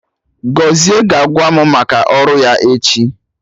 Gọzie ga-agwa mụ maka ọrụ ya echi